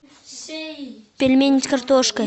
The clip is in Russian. пельмени с картошкой